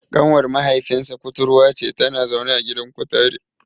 Ƙanwar mahaifinsa kuturwa ce, tana zaune a gidan kutare.